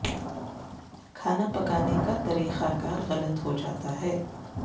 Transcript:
کھانا پکانے کا طریقہ کار غلط ہو جاتا ہے